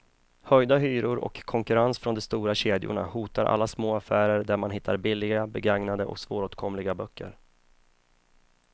Höjda hyror och konkurrens från de stora kedjorna hotar alla små affärer där man hittar billiga, begagnade och svåråtkomliga böcker.